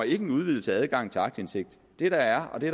en udvidelse af adgangen til aktindsigt det er det